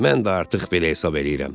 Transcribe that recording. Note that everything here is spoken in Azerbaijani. Mən də artıq belə hesab eləyirəm.